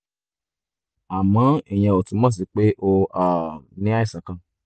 àmọ́ ìyẹn ò túmọ̀ sí pé o um ní àìsàn kan